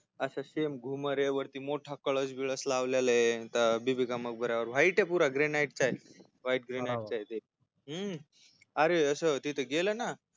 अस same घुमर वरती असा मोठी कळस बिळस लावलेलाय बीबी का मकब-यावर white पुरा green white चाय हूं अरे अस तिथ गेल ना